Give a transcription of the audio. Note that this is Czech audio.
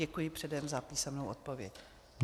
Děkuji předem za písemnou odpověď.